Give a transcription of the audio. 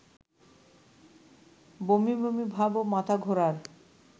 বমিবমি ভাব ও মাথাঘোরার